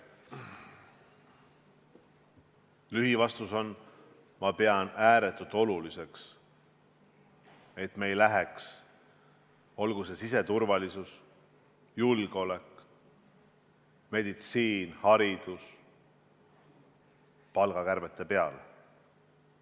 Lühivastus on: ma pean ääretult oluliseks, et me ei läheks, olgu see siseturvalisus, julgeolek, meditsiin või haridus, palgakärbete peale.